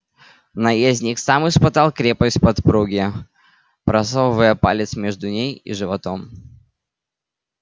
наездник сам испытал крепость подпруги просовывая палец между ней и животом